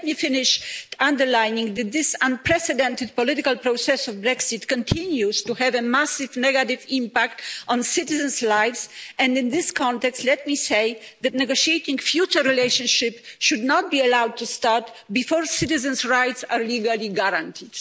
Let me finish by underlining that this unprecedented political process of Brexit continues to have a massive negative impact on citizens' lives and, in this context, let me say that negotiating the future relationship should not be allowed to start before citizens' rights are legally guaranteed.